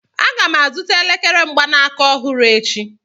Aga m azụta elekere mgbanaka ọhụrụ echi